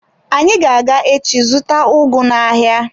Anyị ga-aga echi zụta ugu n'ahịa.